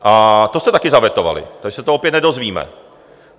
A to jste také zavetovali, takže to se opět nedozvíme.